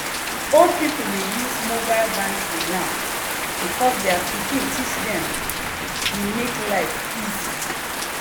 old people dey use mobile banking now because their pikin teach dem e make life easy.